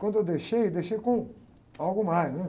Quando eu deixei, deixei com algo mais, né?